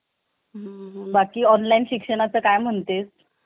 बाकी online शिक्षणाचा काय म्हणतेस